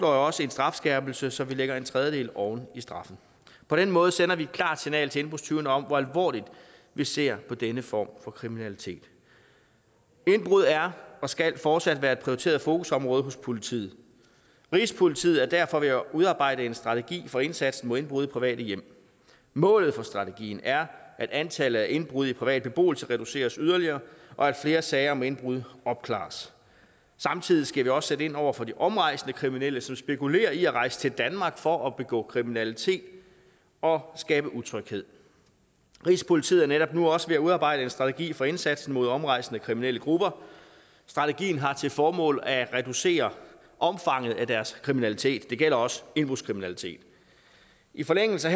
også en strafskærpelse så vi lægger en tredjedel oven i straffen på den måde sender vi et klart signal til indbrudstyvene om hvor alvorligt vi ser på denne form for kriminalitet indbrud er og skal fortsat være et prioriteret fokusområde hos politiet rigspolitiet er derfor ved at udarbejde en strategi for indsatsen mod indbrud i private hjem målet for strategien er at antallet af indbrud i privat beboelse reduceres yderligere og at flere sager om indbrud opklares samtidig skal vi også sætte ind over for de omrejsende kriminelle som spekulerer i at rejse til danmark for at begå kriminalitet og skabe utryghed rigspolitiet er netop nu også ved at udarbejde en strategi for indsatsen mod omrejsende kriminelle grupper strategien har til formål at reducere omfanget af deres kriminalitet det gælder også indbrudskriminalitet i forlængelse